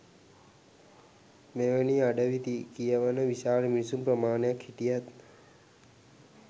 මෙවැනි අඩවි කියවන විශාල මිනිසුන් ප්‍රමාණයක් හිටියත්